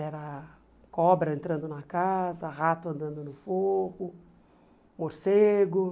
Era cobra entrando na casa, rato andando no forro, morcego.